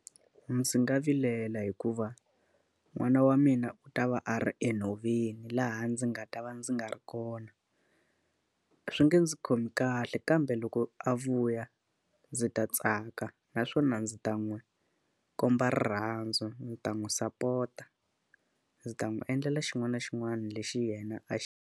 Ndzi nga vilela hikuva n'wana wa mina u ta va a ri enhoveni laha ndzi nga ta va ndzi nga ri kona. Swi nge ndzi khomi kahle kambe loko a vuya, ndzi ta tsaka naswona ndzi ta n'wi komba rirhandzu, ndzi ta n'wi sapota, ndzi ta n'wi endlela xin'wana na xin'wana lexi yena a .